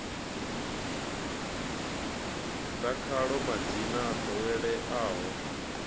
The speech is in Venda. ḓa khaḽo madzina o ḓoweleaho